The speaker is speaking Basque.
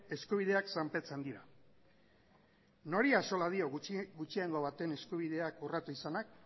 eskubideak zanpatzen dira nori axola dio gutxiengo baten eskubideak urratu izanak